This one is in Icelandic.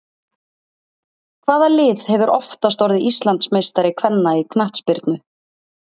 Hvaða lið hefur oftast orðið Íslandsmeistari kvenna í knattspyrnu?